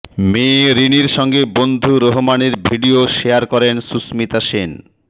মেয়ে রিনির সঙ্গে বন্ধু রোহমানের ভিডিয়ো শেয়ার করেন সুস্মিতা সেন